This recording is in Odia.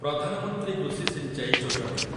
ପ୍ରଧାନ ମନ୍ତ୍ରୀ କୃଷି ସିଞ୍ଚାଇ ଯୋଜନା